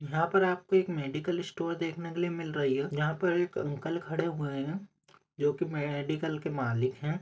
यह पर आप एक मेडिकल स्टोर देखने के लिए मिल रहा है यहा पे एक अंकल खड़े हुए है जोकि मेडिकल के मालिक है।